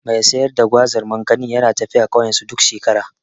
Mai sayar da Gwazar/ Makanin yana tafiya ƙauyensu duk shekara.